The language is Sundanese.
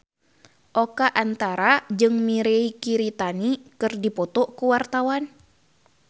Oka Antara jeung Mirei Kiritani keur dipoto ku wartawan